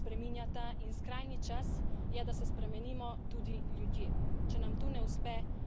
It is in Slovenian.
Podnebje in narava se spreminjata in skrajni čas je, da se spremenimo tudi ljudje.